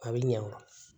A bɛ ɲɛ o